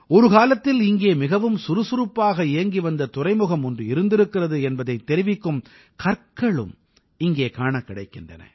ஒரு காலத்தில் இங்கே மிகவும் சுறுசுசுறுப்பாக இயங்கிவந்த துறைமுகம் ஒன்று இருந்திருக்கிறது என்பதைத் தெரிவிக்கும் கற்களும் இங்கே காணக் கிடைக்கின்றன